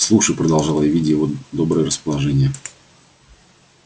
слушай продолжал я видя его доброе расположение